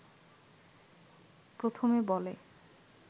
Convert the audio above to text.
প্রথমে বলে